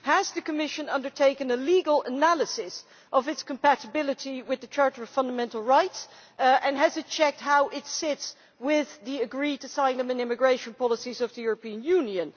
Has the Commission undertaken a legal analysis of its compatibility with the Charter of Fundamental Rights, and has it checked how it sits with the agreed asylum and immigration policies of the European Union?